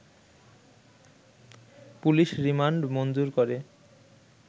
police remand মঞ্জুর করে